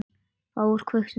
Þá var kveikt undir.